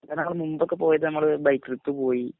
കുറേനാളുമുബൊക്കെപോയതു നമ്മള് ബൈക്കെടുത്തു പോയ്